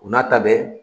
U n'a ta bɛɛ